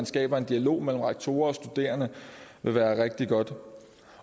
skabe en dialog mellem rektorer og studerende vil være rigtig godt